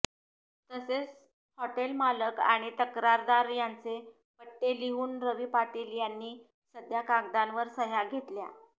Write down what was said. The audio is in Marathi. तसेच हॉटेलमालक आणि तक्रारदार यांचे पट्टे लिहून रवी पाटील यांनी सध्या कागदावर सह्या घेतल्या